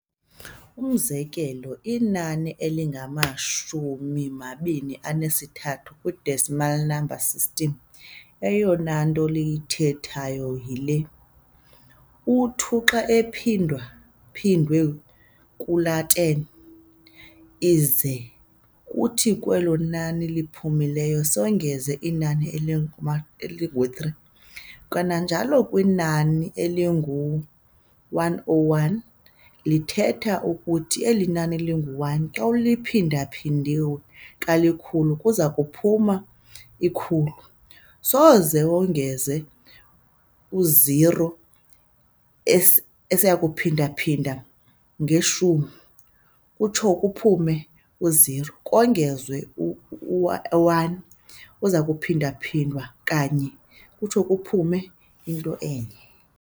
Umzekelo, inani elingama-23 kwi-decimal number system, eyonanto liyithethayo yile, u-2 xa ephindwa-phindwe kali-10, ize kuthi kwelo nani liphumileyo songeze inani elingu-3, kananjalo kwinani elingu-101 lithetha ukuthi inani elingu-1 xa liphinda-phindwe kalikhulu kuzakuphuma u-100, songeze u-0 esiyakumphindaphinda nge-10 kutsho kuphume u-0, kongezwe u-1 ozakuphindwaphindwa ka-1 kutsho kuphume into enye.